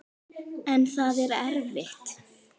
En það er erfitt.